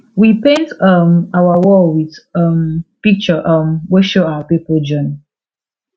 we paint um our wall with um picture um wey show our people journey